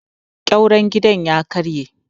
ƙyauren gida ya karye